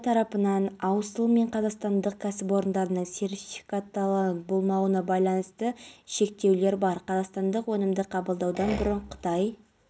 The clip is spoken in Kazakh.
былтырғы жылы тәжістан мемлекетінен қажылық сапарына жан аттанған екен елдің дін істері комитеті жыл сайын сауд